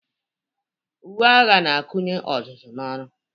Uwe agha na-akụnye ọzụzụ n'ọrụ.